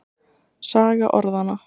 Saga orðanna.